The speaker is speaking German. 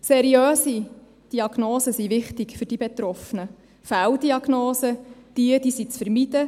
Seriöse Diagnosen sind für die Betroffenen wichtig, Fehldiagnosen sind zu vermeiden.